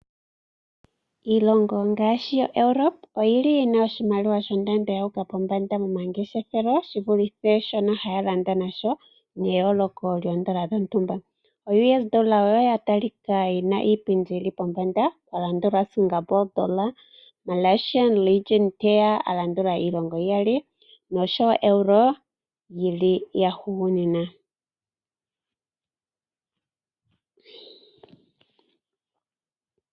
Iilonga ngaashi yaEuropa oyi na iiimaliwa shondando yu uka pombanda momangeshefelo shi vulithe shono haya landa nasho neyooloko lyoodola dhontumba. OUS$ oya talika oyo yi na yi li pombanda, ya landulwa koSingapre Dolla, Malaysian Ringgit te ya a landula iilongo iyali, oshowo oEuro yi li ya hugunina.